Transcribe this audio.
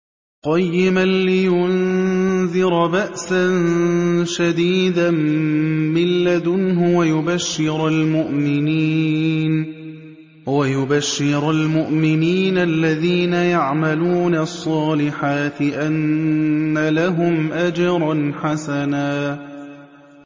قَيِّمًا لِّيُنذِرَ بَأْسًا شَدِيدًا مِّن لَّدُنْهُ وَيُبَشِّرَ الْمُؤْمِنِينَ الَّذِينَ يَعْمَلُونَ الصَّالِحَاتِ أَنَّ لَهُمْ أَجْرًا حَسَنًا